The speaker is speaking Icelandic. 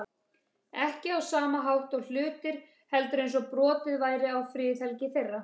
Ekki á sama hátt og hlutir, heldur eins og brotið væri á friðhelgi þeirra.